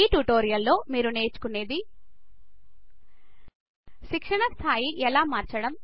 ఈ ట్యుటోరియల్ లో మీరు నేర్చుకునేది శిక్షణ స్థాయి ఎలా మార్చడం